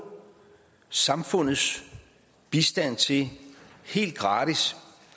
samfundets bistand til helt gratis